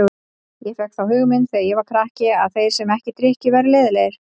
Ég fékk þá hugmynd þegar ég var krakki að þeir sem ekki drykkju væru leiðinlegir.